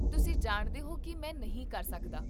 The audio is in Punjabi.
ਤੁਸੀਂ ਜਾਣਦੇ ਹੋ ਕੀ ਮੈਂ ਨਹੀਂ ਕਰ ਸਕਦਾ